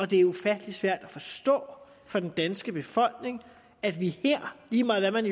det er ufattelig svært at forstå for den danske befolkning at vi her lige meget hvad man